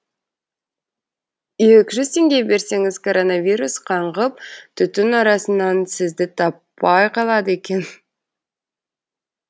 екі жүз теңге берсеңіз коронавирус қаңғып түтін арасынан сізді таппай қалады екен